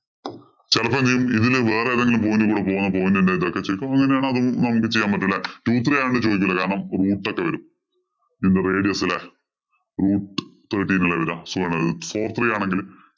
ചെലപ്പോ എന്തു ചെയ്യും ഇതില് വേറെ ഏതെങ്കിലും point കൂടെ point ഇന്‍റെ ഇതൊക്കെ ചോദിക്കും. അപ്പൊ അങ്ങനെയാണെ നമുക്ക് ചെയ്യാന്‍ പറ്റൂല. Two three ആണേല് ചോദിക്കൂല. കാരണം root ഒക്കെ വരും. In the radius ഇല് root thirteen അല്ലേ വരിക. Four three ആണെങ്കില്‍